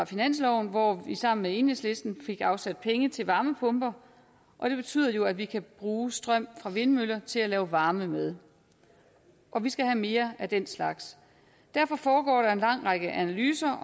finansloven hvor vi sammen med enhedslisten fik afsat penge til varmepumper og det betyder jo at vi kan bruge strøm fra vindmøller til at lave varme med og vi skal have mere af den slags derfor foregår der en lang række analyser